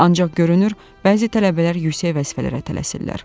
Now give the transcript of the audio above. Ancaq görünür, bəzi tələbələr yüksək vəzifələrə tələsirlər.